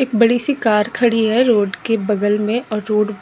एक बड़ी सी कार खड़ी है रोड के बगल में और रोड